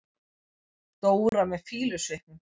Dóra með fýlusvipnum.